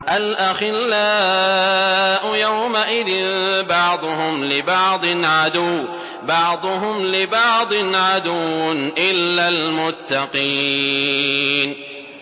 الْأَخِلَّاءُ يَوْمَئِذٍ بَعْضُهُمْ لِبَعْضٍ عَدُوٌّ إِلَّا الْمُتَّقِينَ